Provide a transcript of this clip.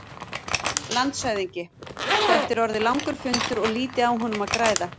LANDSHÖFÐINGI: Þetta er orðinn langur fundur og lítið á honum að græða.